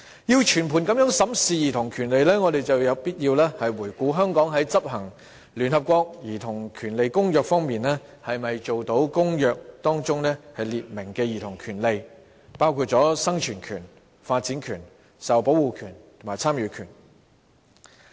要全盤審視兒童權利，我們有必要回顧香港在執行聯合國《兒童權利公約》方面，有否達到《公約》中列明的有關兒童權利的規定，包括生存權、發展權、受保護權和參與權。